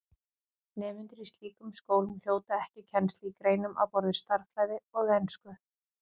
Nemendur í slíkum skólum hljóta ekki kennslu í greinum á borð við stærðfræði og ensku.